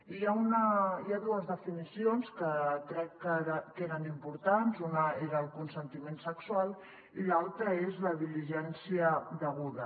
i hi ha dues definicions que crec que eren importants una era el consentiment sexual i l’altra és la diligència deguda